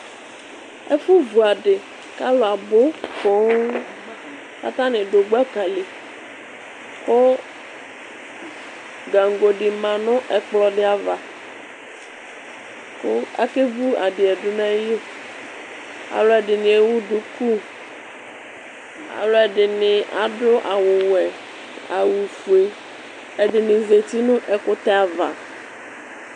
ɛfu vu adi k'alò abu poŋ k'atani du gbaka li kò gaŋgo di ma no ɛkplɔ di ava kò ake vu adi yɛ du n'ayili alò ɛdini ewu duku alò ɛdini adu awu wɛ awu fue ɛdini zati no ɛkutɛ ava.